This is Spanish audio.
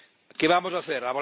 ¿Qué vamos a hacer?